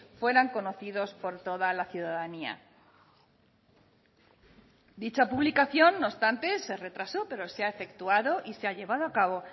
fueran conocidos por toda la ciudadanía dicha publicación no obstante se retrasó pero se ha efectuado y se ha llevado a cabo